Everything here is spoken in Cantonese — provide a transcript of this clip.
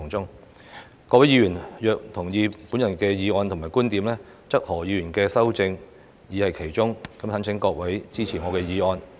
如果各位議員同意我的議案和觀點，則何議員的修正已在其中，懇請各位支持我的議案。